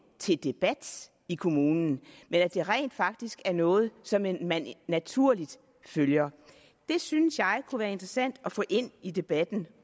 til debat i kommunen men at det rent faktisk er noget som man man naturligt følger det synes jeg kunne være interessant at få ind i debatten